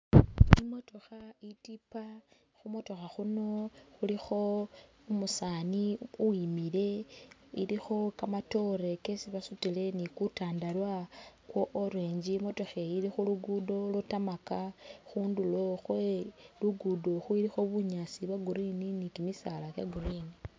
Imotokha itipa khumotokha khulikho umusani uwimile, ilikho kamatoore kesibasutile, ni'kutandalwa kwa orange imotokheyi ili khu'luguddo lwa'tarmac khundulo khwe'luguddo ilikho bunyaasi bwa'green ni kimisaala kya'green